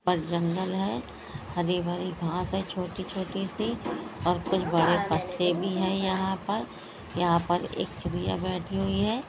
पर जंगल है हरी-भरी घास है छोटी-छोटी सी और कुछ बड़े पत्ते भी है यहां पर| यहां पर एक चिड़िया बैठी हुई है।